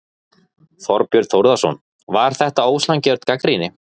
Þorbjörn Þórðarson: Var þetta ósanngjörn gagnrýni?